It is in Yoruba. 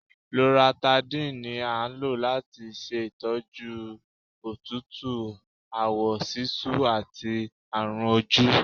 Loratadine ní a ń lò latí ṣe ìtọ́jú òtútù, àwọ sisú àti àrùn ojú.